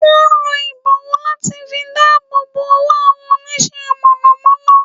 Wón n lo ìbọ̀wọ́ láti fi dáàbòbò owó àwọn Onísẹ́ - mọ̀nọ̀mọ́nọ́